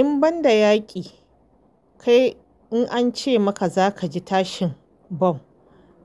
In ban da a yaƙi, kai in an ce maka za ka ji tashin bom